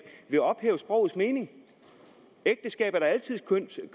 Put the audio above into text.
vil ophæve sprogets mening ægteskabet er da altid